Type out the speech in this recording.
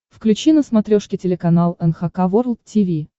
включи на смотрешке телеканал эн эйч кей волд ти ви